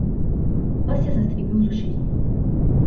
Pes je zastrigel z ušesi.